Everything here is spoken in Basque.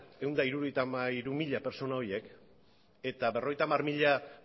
ehun eta hirurogeita hamairu mila pertsona horiek eta berrogeita hamar mila